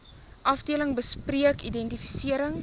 afdeling bespreek identifisering